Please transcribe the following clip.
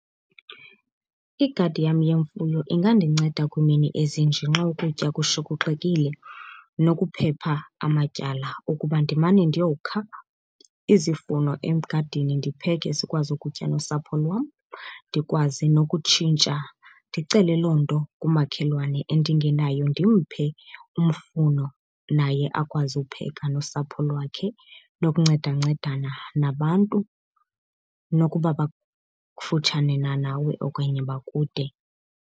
Igadi yam yemfuyo ingandinceda kwiimini ezinje nxa ukutya kushokoxekile nokuphepha amatyala, ukuba ndimane ndiyokha izifuno egadini ndipheke sikwazi ukutya nosapho lwam. Ndikwazi nokutshintsha ndicele loo nto kumakhelwane endingenayo, ndimphe umfuno naye akwazi ukupheka nosapho lwakhe, nokuncedancedana nabantu nokuba bakufutshane na nawe okanye bakude.